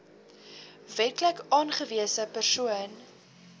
wetlik aangewese persoon